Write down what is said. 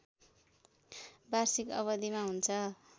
वार्षिक अवधिमा हुन्छ